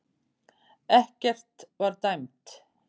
Ekkert var dæmt